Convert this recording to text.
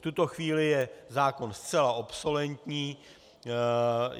V tuto chvíli je zákon zcela obsolentní.